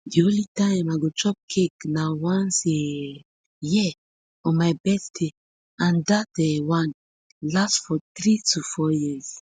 di only time i go chop cake na once a um year on my birthday and dat um one last for three to four years